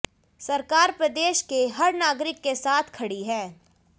सरकार प्रदेश के हर नागरिक के साथ खड़ी है